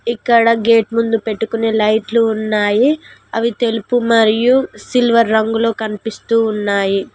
ఇక్కడ గేట్ ముందు పెట్టుకునే లైట్లు ఉన్నాయి అవి తెలుపు మరియు సిల్వర్ రంగులో కనిపిస్తూ ఉన్నాయి.